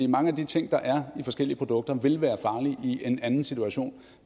mange af de ting der er i forskellige produkter vil være farlige i en anden situation